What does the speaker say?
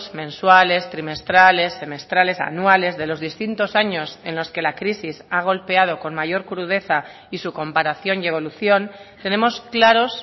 mensuales trimestrales semestrales anuales de los distintos años en los que la crisis ha golpeado con mayor crudeza y su comparación y evolución tenemos claros